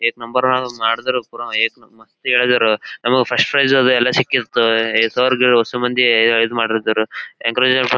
ಏತ್ ನಂಬರದ ಅದು ಮಾಡದ್ರು ಕೂಡ ಏಕ್ ಮಸ್ತ್ ನಮಗೆ ಫಸ್ಟ್ ಪ್ರೈಸ್ ಎಲ್ಲ ಸಿಕ್ಕಿರ್ಥವೇ ಸರ್ ಗೆ ಹೊಸ ಮಂದಿ ಈದ್ ಮಾಡ್ ಇದಾರೆ --